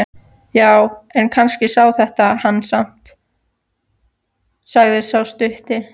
Já, en kannski sjá þeir hana samt, sagði sá stutti.